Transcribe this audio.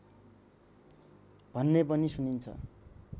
भन्ने पनि सुनिन्छ